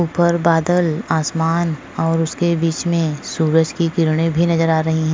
ऊपर बादल आसमान और उसके बीच में सूरज की किरणें भी नजर आ रही है।